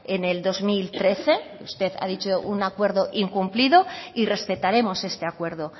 en el dos mil trece usted ha dicho un acuerdo incumplido y respetaremos este acuerdo